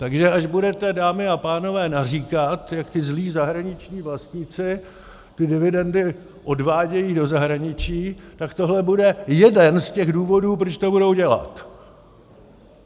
Takže až budete, dámy a pánové, naříkat, jak ti zlí zahraniční vlastníci ty dividendy odvádějí do zahraničí, tak tohle bude jeden z těch důvodů, proč to budou dělat.